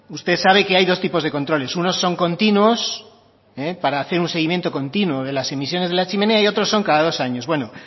usted sabe que hay dos tipos de controles unos son continuos para hacer un seguimiento continuo de las emisiones de la chimenea y otros son cada dos años bueno